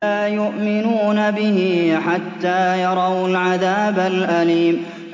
لَا يُؤْمِنُونَ بِهِ حَتَّىٰ يَرَوُا الْعَذَابَ الْأَلِيمَ